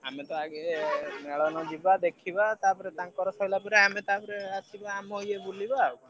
ଆମେ ତ ଆଗେ ମେଳଣ ଯିବା ଦେଖିବା ତାପରେ ତାଙ୍କର ସରିଲା ପରେ ତାପରେ ଆମେ ଆସିବା ଆମର ଏ ବୁଲିବା ଆଉ।